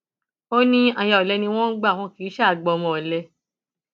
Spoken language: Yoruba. ó ní aya olè ni wọn ń gbà wọn kì í ṣáà gba ọmọ ọlẹ